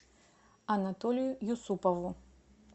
анатолию юсупову